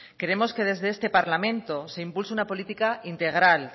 queremos que desde este parlamento se impulse una política integral